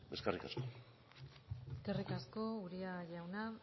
eskerrik asko eskerrik asko uria jauna